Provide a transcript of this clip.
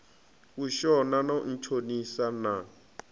u shona no ntshonisa na